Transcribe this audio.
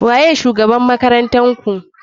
Waye shugaban ,mazan makaranntarku.